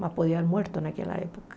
Mas podia ter morrido naquela época.